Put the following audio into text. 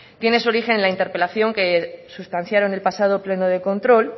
tiene su origen en la interpelación que sustanciaron el pasado pleno de control